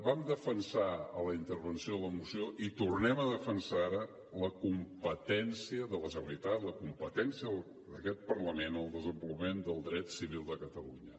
vam defensar en la intervenció de la moció i ho tornem a defensar ara la competència de la generalitat la competència d’aquest parlament en el desenvolupament del dret civil de catalunya